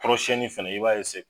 Kɔrɔsiyɛnni fana i b'a